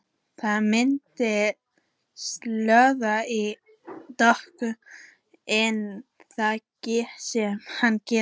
Það myndaðist slóð í dögg- ina þar sem hann gekk.